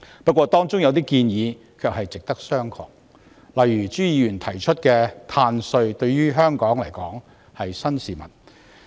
不過，當中有些建議值得商榷，例如朱議員提出的"碳稅"，對香港而言是新事物。